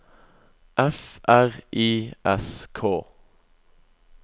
F R I S K